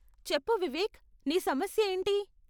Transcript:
చెప్పు వివేక్, నీ సమస్య ఏంటి?